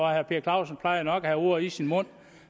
herre per clausen plejer nok at have ordet i sin magt